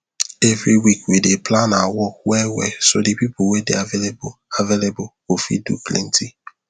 every week we dey plan our work wellwell so de pipo wey dey available available go fit do plenty